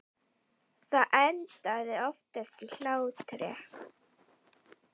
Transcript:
Það endaði oftast í hlátri.